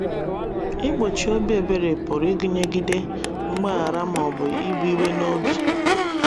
Ịgbochi obi ebere pụrụ ịgụnye ịgide ngbaghara ma ọ bụ ibụ iwe n’obi.